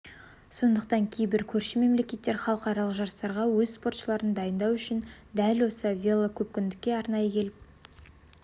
сондықтан кейбір көрші мемлекеттер халықаралық жарыстарға өз спортшыларын дайындау үшін дәл осы велокөпкүндікке арнайы келіп